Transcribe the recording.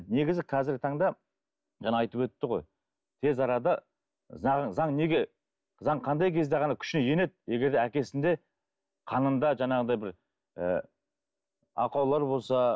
негізі қазіргі таңда жаңа айтып өтті ғой тез арада заң заң неге заң қандай кезде ғана күшіне енеді егер де әкесінде қанында жаңағыдай бір ыыы ақаулар болса